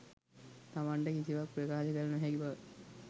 තමන්ට කිසිවක් ප්‍රකාශ කළ නොහැකි බව